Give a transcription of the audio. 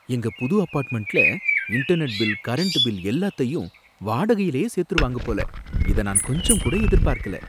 எங்க புது அபார்ட்மெண்ட்ல இன்டர்நெட் பில், கரண்ட் பில் எல்லாத்தையும் வாடகையிலயே சேத்துருவாங்க போல, இத நான் கொஞ்சம் கூட எதிர்பார்க்கல.